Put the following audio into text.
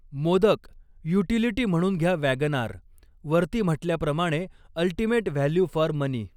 Modak, utility म्हणून घ्या WagonR वरती म्हटल्याप्रमाणे अल्टिमेट व्हॅल्यु फॉर मनी.